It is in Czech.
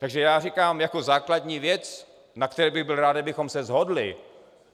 Takže já říkám jako základní věc, na které bych byl rád, kdybychom se shodli.